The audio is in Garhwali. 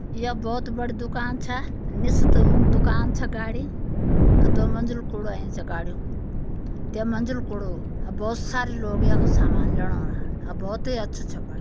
य बौत बढ़ी दुकान छ निस त ऊं दुकान छ गाड़ि। अ दो मंजिल कुड़ु ऐंच गाड्युं। तै मंजिल कुड़ु। अ बौत सारी लोग यख सामान ल्योणा औना अ भौत ही अच्छू च बण्यु।